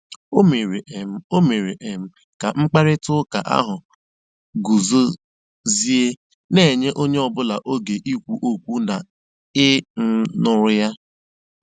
O mèrè um O mèrè um kà mkpáịrịtà ụ́ka ahụ́ gùzòziè, na-ènyé ònyè ọ́bụ́là ógè ìkwù ókwú na ị̀ um nụ́rụ́ ya.